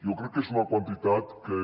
jo crec que és una quantitat que